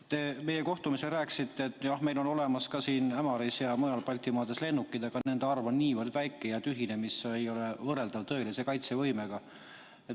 Te rääkisite meie kohtumisel, et jah, meil on Ämaris ja mujal Baltimaades lennukid, aga nende arv on niivõrd väike ja tühine, et see ei ole võrreldav tõelise kaitsevõimega.